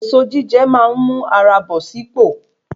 Èso jíjẹ máa n mu ara bò sí pò